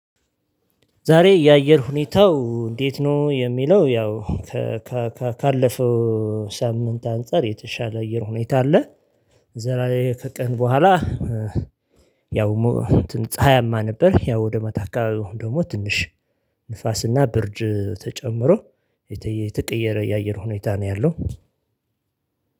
ዛሬ የአየር ሁኔታው እንዴት ነው የሚለው? ያው ካለፈው ሳምንት አንፃር የተሻለ አየር ሁኔታ አለ። ዛሬ ከቀን በኋላ ያው ፀሀያማ ነበር። ያው ወደ ማታ አካባቢው ደግሞ ትንሽ ንፋስና ብርድ ተጨምሮ የተቀየረ የአየር ሁኔታ ነው ያለው።